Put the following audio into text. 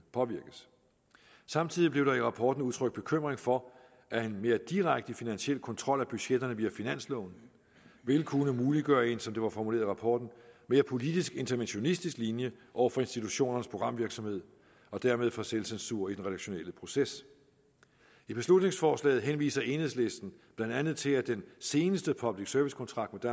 påvirkes samtidig blev der i rapporten udtrykt bekymring for at en mere direkte finansiel kontrol af budgetterne via finansloven ville kunne muliggøre en som det var formuleret i rapporten mere politisk interventionistisk linje over for institutionernes programvirksomhed og dermed for selvcensur i den redaktionelle proces i beslutningsforslaget henviser enhedslisten blandt andet til at den seneste public service kontrakt